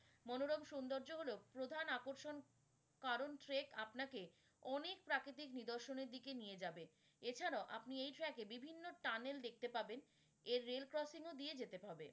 মনোরম সুন্দর্য হলো প্রধান আকর্ষণ কারন trek আপনাকে অনেক প্রাকৃতিক নিদর্শনের দিকে নিয়ে যাবে। এছাড়াও আপনি track য়ে বিভিন্ন tunnel দেখতে পাবেন এর rail crossing দিয়ে যেতে হবে।